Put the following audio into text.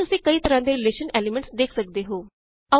ਇੱਥੇ ਤੁਸੀਂ ਕਈ ਤਰਾਂ ਦੇ ਰੀਲੇਸ਼ਨ ਐਲੀਮੈਂਟ੍ਸ ਵੇਖ ਸਕਦੇ ਹੋ